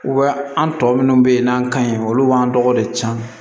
an tɔ minnu bɛ yen n'an ka ɲi olu b'an dɔgɔ de can